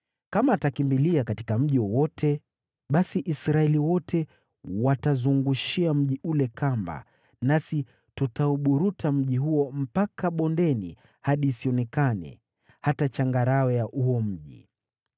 Kama atakimbilia katika mji wowote, basi Israeli wote watazungushia mji ule kamba, nasi tutauburuta mji huo mpaka bondeni hadi isionekane hata changarawe ya huo mji.”